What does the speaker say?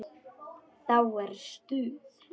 Þá er stuð.